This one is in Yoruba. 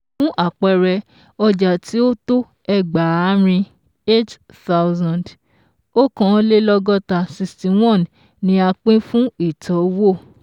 Fún àpẹẹrẹ, ọjà tí ó tó ẹgbààrin eight thousand òkàn lé lọ́gọ́ta sixty one ni a pín fún ìtọ́wò